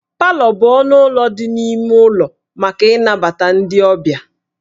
Palọ bụ ọnụ ụlọ dị n'ime ụlọ maka ịnabata ndị ọbịa